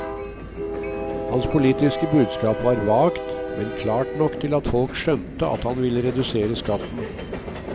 Hans politiske budskap var vagt, men klart nok til at folk skjønte at han ville redusere skatten.